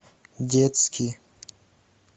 детский